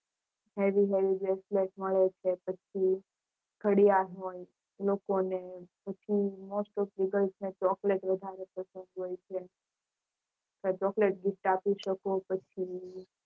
નવી નવી bracelet મળે છે પછી ઘડિયાળ હોય લોકલો હોય પછી most of leeGirls માં Chocolate વધારે પસંદ હોય છે Chocolate gift આપી શકો છો